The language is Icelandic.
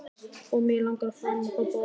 Og mig langar til að faðma þá báða að mér.